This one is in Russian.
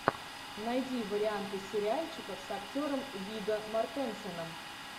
найди варианты сериальчиков с актером вигго мортенсеном